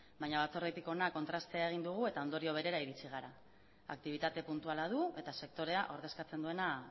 baina batzordetik hona kontrastea egin dugu eta ondorio berera iritsi gara aktibitate puntuala du eta sektorea ordezkatzen duena